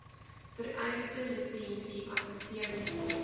vereiste lisensie assesseringsfooi